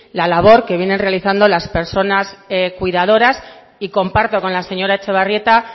la labor que vienen realizando las personas cuidadoras y comparto con la señora etxebarrieta